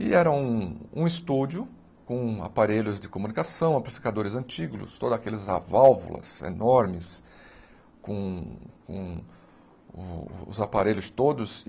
E era um um estúdio com aparelhos de comunicação, amplificadores antigos, todas aquelas a válvulas enormes com com com os aparelhos todos.